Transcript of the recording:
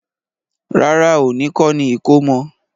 Rárá, òní kọ́ni ìkómọ.